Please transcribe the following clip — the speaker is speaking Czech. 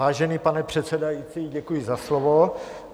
Vážený pane předsedající, děkuji za slovo.